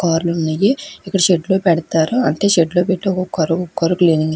car లు ఉన్నయి ఇక్కడ షెడ్ లో పెడతారు అంటే షెడ్ లో పెట్టి ఒకో కార్ ఒకో కార్ క్లీనింగ్ --